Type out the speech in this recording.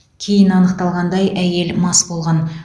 кейін анықталғандай әйел мас болған